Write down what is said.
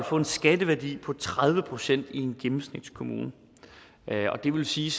få en skatteværdi på tredive procent i en gennemsnitskommune det vil sige